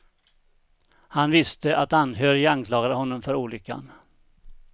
Han visste att anhöriga anklagade honom för olyckan.